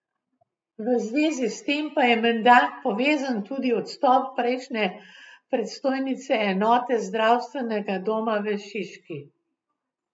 V zvezi s tem pa je menda povezan tudi odstop prejšnje predstojnice enote zdravstvenega doma v Šiški.